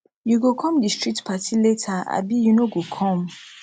you go come di street party later abi you no go come